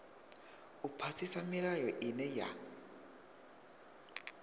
u phasisa milayo ine ya